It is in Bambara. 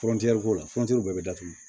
Fɔnteni k'o la fontɛri bɛɛ bɛ datugu